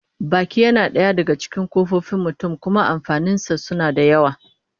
Baki yana daya daga cikin kofofin jikin mutum, kuma amfanin sa suna da yawa